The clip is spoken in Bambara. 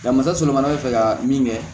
Nka misali fana bɛ fɛ ka min kɛ